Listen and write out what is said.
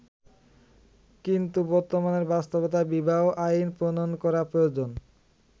কিন্তু বর্তমানের বাস্তবতায় বিবাহ আইন প্রণয়ন করা প্রয়োজন।